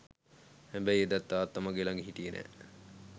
හැබැයි එදත් තාත්තා මගේ ලග හිටියෙ නෑ.